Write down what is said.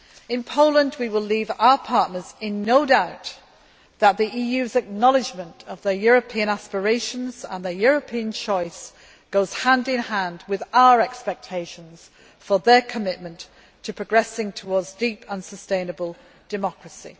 In Poland we will leave our partners in no doubt that the EU's acknowledgment of their European aspirations and their European choice goes hand in hand with our expectations for their commitment to progressing towards deep and sustainable democracy.